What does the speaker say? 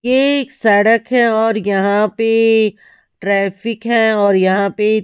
ये एक सड़क है और यहां पे ट्रैफिक है और यहां पे।